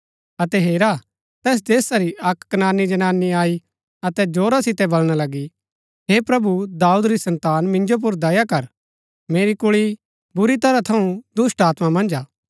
अतै हेरा तैस देशा री अक्क कनानी जनानी आई अतै जोरा सितै बलणा लगी हे प्रभु दाऊद री सन्तान मिन्जो पुर दया कर मेरी कुल्ळी बुरी तरह थऊँ दुष्‍टात्मा मन्ज हा